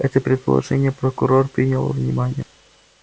это предположение прокурор принял во внимание